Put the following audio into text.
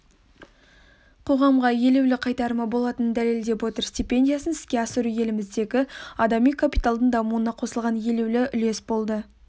қоғамға елеулі қайтарымы болатынын дәлелдеп отыр стипендиясын іске асыру еліміздегі адами капиталдың дамуына қосылған елеулі үлес болды